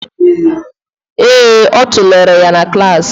Ee, ọ tụlere ya na klas